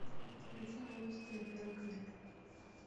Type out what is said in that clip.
включи новости на первом канале